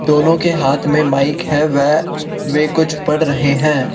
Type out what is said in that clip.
दोनों के हाथ में माइक है व वे कुछ पढ़ रहे हैं।